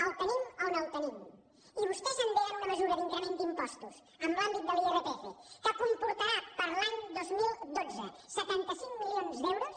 el tenim on el tenim i vostès endeguen una mesura d’increment d’impostos en l’àmbit de l’irpf que comportarà per a l’any dos mil dotze setanta cinc milions d’euros